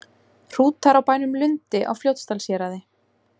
Hrútar á bænum Lundi á Fljótsdalshéraði.